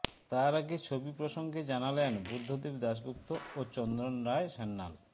তার আগে ছবি প্রসঙ্গে জানালেন বুদ্ধদেব দাশগুপ্ত ও চন্দন রায় সান্যাল